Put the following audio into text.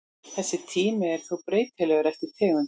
Þessi tími er þó breytilegur eftir tegundum.